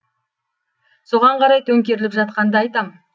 соған қарай төңкеріліп жатқанды айтам